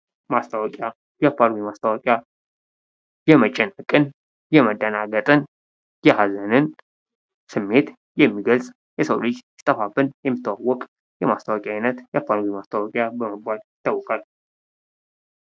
ማስታወቂያ የአፋልጉኝ ማስታወቂያ የመጨነቅን ፣የመደናግጥን፣ የሃዘንን ስሜት የሚገልጽ የሰው ልጅ ሲጠፋብን የሚስተዋወቅ የማስታወቂያ አይነት የአፋልጉኝ ማስታወቂያ በመባል ይታወቃል።